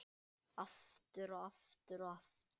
Aftur og aftur og aftur.